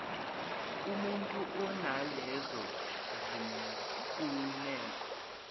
kumutu onalezo zimfuneko